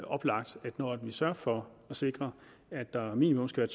oplagt at når vi sørger for at sikre at der minimum skal